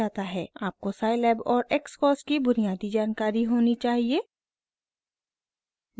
आपको scilab और xcos की बुनियादी जानकारी होनी चाहिए